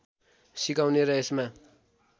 सिकाउने र यसमा